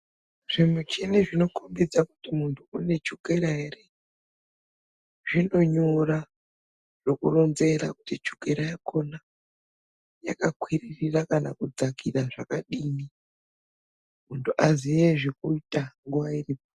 Zvimuchini zvinokhombidza kuti muntu une chukira ere zvinonyora, zvokuronzera kuti chukera yakhona yakakwiririra kana kudzakira zvakadini muntu aziye zvekuita nguwa iripo.